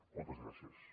moltes gràcies